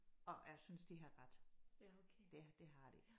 Og jeg synes de har ret. Det det har de